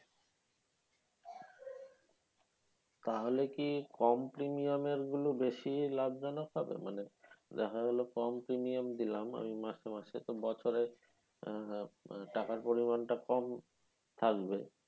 তাহলে কি কম premium এর গুলো বেশি লাভ জনক হবে মানে দেখা গেলো কম premium দিলাম মাসে মাসে তো বছরে আহ টাকার পরিমান টা কম থাকবে।